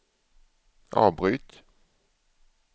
avbryt